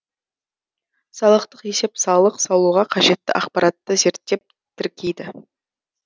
салықтық есеп салық салуға қажетті ақпаратты зерттеп тіркейді